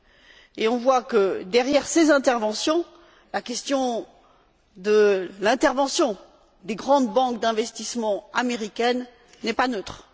Nous voyons que derrière ces interventions, la question de l'intervention des grandes banques d'investissement américaines n'est pas neutre.